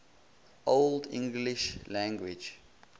old english language